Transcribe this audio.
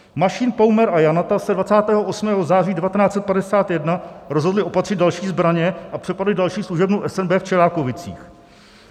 Mašín, Paumer a Janata se 28. září 1951 rozhodli opatřit další zbraně a přepadli další služebnu SNB v Čelákovicích.